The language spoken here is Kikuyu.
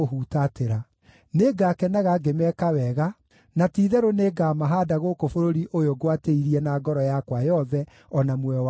Nĩngakenaga ngĩmeeka wega, na ti-itherũ nĩngamahaanda gũkũ bũrũri ũyũ ngwatĩirie na ngoro yakwa yothe o na muoyo wakwa wothe.